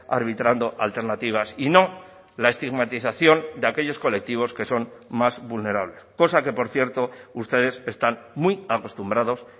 arbitrando alternativas y no la estigmatización de aquellos colectivos que son más vulnerables cosa que por cierto ustedes están muy acostumbrados